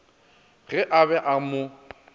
ge a be a mo